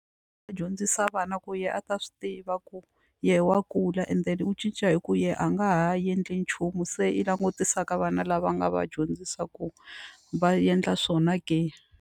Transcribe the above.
Va dyondzisa vana ku yena a ta swi tiva ku yehe wa kula and then u cinca hi ku yena a nga ha endli nchumu se i langutisa ka vana lava a nga va dyondzisa ku va endla swona ke.